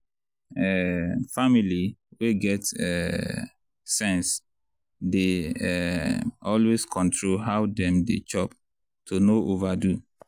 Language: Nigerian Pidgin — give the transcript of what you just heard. um family wey get um sense dey um always control how dem dey chop to no overdo.